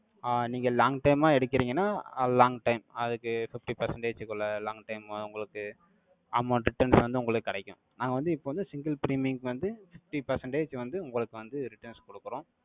ஆஹ் நீங்க long time ஆ எடுக்கறீங்கன்னா, long time. அதுக்கு, fifty percentage க்குள்ள, long time ஆ உங்களுக்கு, amount returns வந்து, உங்களுக்கு கிடைக்கும். நாங்க வந்து, இப்ப வந்து, single premium க்கு வந்து, fifty percentage வந்து, உங்களுக்கு வந்து, returns கொடுக்கிறோம்